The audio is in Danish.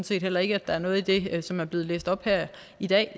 set heller ikke at der er noget i det som er blevet læst op her i dag